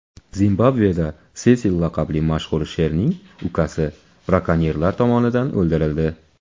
Zimbabveda Sesil laqabli mashhur sherning ukasi brakonyerlar tomonidan o‘ldirildi.